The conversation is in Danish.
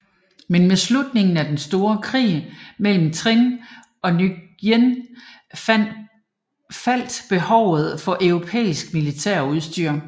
Men med slutningen af den store krig mellem Trịnh og Nguyễn faldt behovet for europæisk militærudstyr